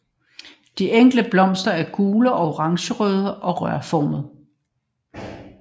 De enkelte blomster er gule eller orangerøde og rørformede